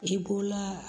I b'o la